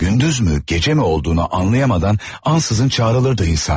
Gündüzmü gecəmi olduğunu anlayamadan ansızın çağrılırdı insan.